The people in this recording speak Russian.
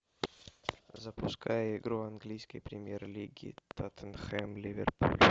запускай игру английской премьер лиги тоттенхэм ливерпуль